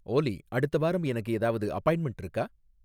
ஓலி அடுத்த வாரம் எனக்கு ஏதாவது அப்பாயின்ட்மென்ட் இருக்கா?